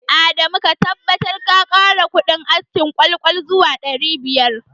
Adamu ka tabbatar ka kara kudin askin ƙwal-ƙwal zuwa ɗari biyar